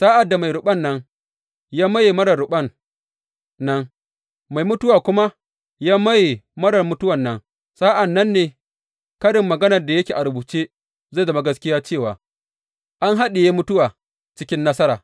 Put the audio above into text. Sa’ad da mai ruɓan nan ya maye marar ruɓan nan, mai mutuwa kuma ya maye marar mutuwan nan, sa’an nan ne karin maganar da yake a rubuce zai zama gaskiya cewa, An haɗiye mutuwa cikin nasara.